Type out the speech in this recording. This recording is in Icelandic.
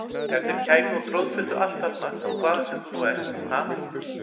Ef þeir kæmu og troðfylltu allt þarna hvaðan sem þú nú ert, ha!